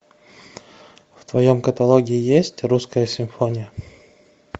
в твоем каталоге есть русская симфония